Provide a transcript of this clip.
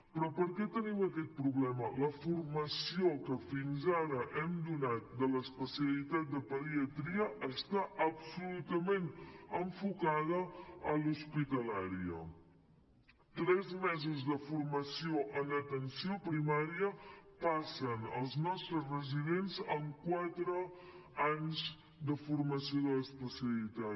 però per què tenim aquest problema la formació que fins ara hem donat de l’especialitat de pediatria està absolutament enfocada a l’hospitalària tres mesos de formació en atenció primària passen els nostres residents en quatre anys de formació de l’especialitat